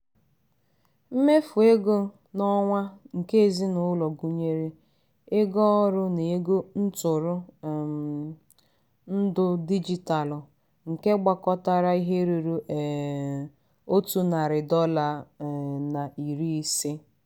mmefu ego n'onwa nke ezinụlọ gụnyere ego ọrụ na ego ntụrụ um ndụ digitalu nke gbakọtara ihe rụrụ um otu narị dọla um na iri ise..